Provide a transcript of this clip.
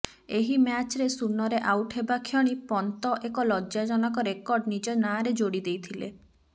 ଏହି ମ୍ୟାଚରେ ଶୂନରେ ଆଉଟ ହେବା କ୍ଷଣି ପନ୍ତ ଏକ ଲଜ୍ଜାଜନକ ରେକର୍ଡ ନିଜ ନାଁରେ ଯୋଡିଦେଇଥିଲେ